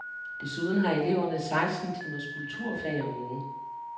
Desuden har eleverne seksten timers kulturfag om ugen.